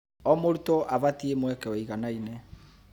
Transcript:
O mũrutwo abatie mweke wĩiganaine.